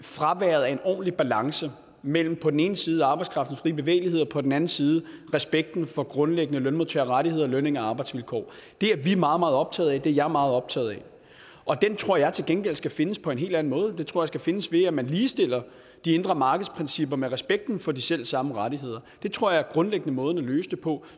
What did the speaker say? ordentlig balance mellem på den ene side arbejdskraftens frie bevægelighed og på den anden side respekten for grundlæggende lønmodtagerrettigheder lønninger og arbejdsvilkår det er vi meget meget optaget af det er jeg meget optaget af og den tror jeg til gengæld skal findes på en helt anden måde den tror jeg skal findes ved at man ligestiller de indre markedsprincipper med respekten for de selv samme rettigheder det tror jeg grundlæggende er måden at løse det på